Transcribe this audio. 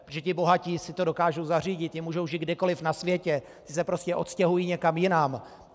Protože ti bohatí si to dokážou zařídit, ti mohou žít kdekoliv na světě, ti se prostě odstěhují někam jinam.